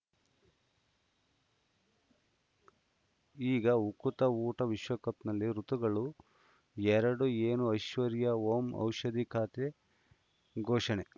ಈಗ ಉಕುತ ಊಟ ವಿಶ್ವಕಪ್‌ನಲ್ಲಿ ಋತುಗಳು ಎರಡು ಏನು ಐಶ್ವರ್ಯಾ ಓಂ ಔಷಧಿ ಖಾತೆ ಘೋಷಣೆ